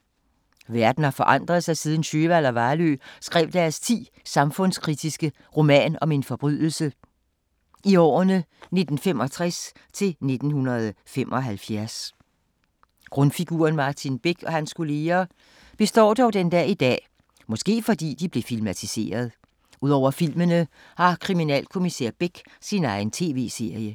Verden har forandret sig siden Sjöwall og Wahlöö skrev deres 10 samfundskritiske "Roman om en forbrydelse" i årene 1965 til 1975. Grundfiguren Martin Beck, og hans kolleger, består dog den dag i dag, måske fordi de blev filmatiseret. Udover filmene, har kriminalkommissær Beck sin egen tv-serie.